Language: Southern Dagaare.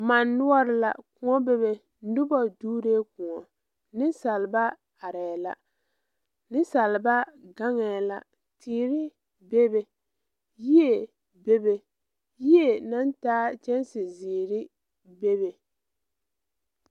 Mane noɔre la kõɔ be be noba doɔre kõɔ, nensaalba are la nensaalba gaŋa la yere be be yie be be yie naŋ taa kyɛnse ziiri be be.